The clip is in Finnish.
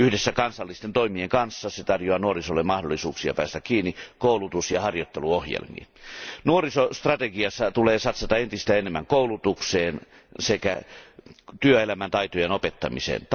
Yhdessä kansallisten toimien kanssa se tarjoaa nuorisolle mahdollisuuksia päästä kiinni koulutus ja harjoitteluohjelmiin. Nuorisostrategiassa tulee satsata entistä enemmän koulutukseen sekä työelämän taitojen opettamiseen.